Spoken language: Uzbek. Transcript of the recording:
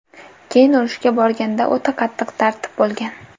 Keyin urushga borganda o‘ta qattiq tartib bo‘lgan.